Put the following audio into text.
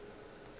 e ka be e le